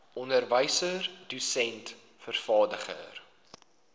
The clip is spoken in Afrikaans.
onderwyser dosent vervaardiger